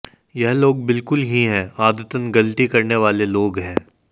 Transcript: ये लोग बिल्कुल ही है आदतन गलती करने वाले लोग हैं